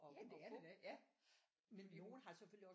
At få men nogen har selvfølgelig også